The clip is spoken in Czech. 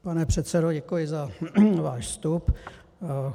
Pane předsedo, děkuji za váš vstup.